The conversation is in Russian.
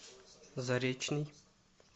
заречный